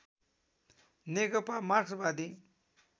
नेकपा मार्क्सवादी